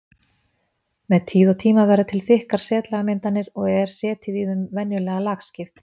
Með tíð og tíma verða til þykkar setlagamyndanir og er setið í þeim venjulega lagskipt.